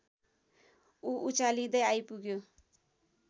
ऊ उचालिँदै आइपुग्यो